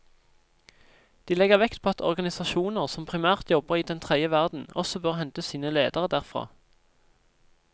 De legger vekt på at organisasjoner som primært jobber i den tredje verden også bør hente sine ledere derfra.